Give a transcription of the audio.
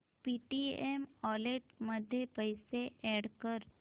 Paytm wallet मध्ये पैसे add कर